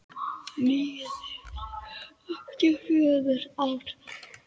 Nýjar þyrlur eftir fjögur ár?